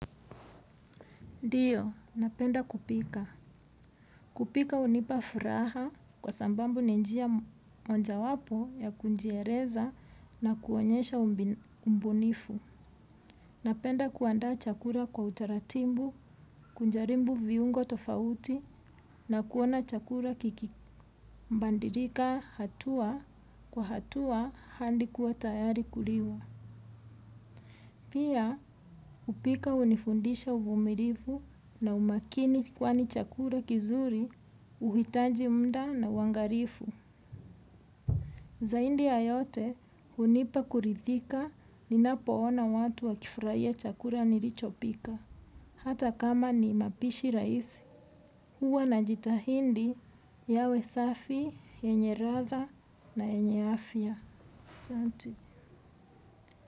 Ndiyo, napenda kupika. Kupika hunipa furaha kwasababu ni njia moja wapo ya kujieleza na kuonyesha ubunifu. Napenda kuandaa chakula kwa utaratibu, kujaribu viungo tofauti na kuona chakula kikibadilika hatua kwa hatua hadi kuwa tayari kuliwa. Pia, kupika hunifundisha uvumilivu na umakini kwani chakula kizuri, huhitaji mda na uangalifu. Zaidi ya yote, hunipa kuridhika ninapoona watu wakifurahia chakula nilichopika. Hata kama ni mapishi raisi. Huwa najitahidi yawe safi, yenye ladha na yenye afya. Ahsante.